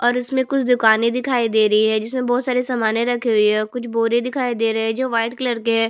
और इसमें कुछ दुकाने दिखाई दे रही है जिसमें बहोत सारे सामने रखे हुई है कुछ बोरे दिखाई दे रहै है जो व्हाईट कलर के है।